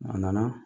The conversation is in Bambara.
A nana